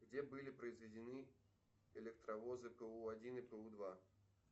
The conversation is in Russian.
где были произведены электровозы пэу один и пэу два